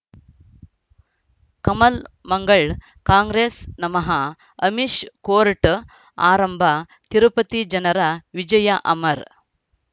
ಕಮಲ್ ಮಂಗಳ್ ಕಾಂಗ್ರೆಸ್ ನಮಃ ಅಮಿಷ್ ಕೋರ್ಟ್ ಆರಂಭ ತಿರುಪತಿ ಜನರ ವಿಜಯ ಅಮರ್